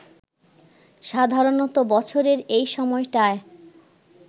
সাধারণত বছরের এই সময়টায়